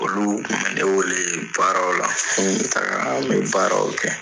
Olu kun bɛ ne weele baaraw la, n bi taga, an bi baaraw kɛ.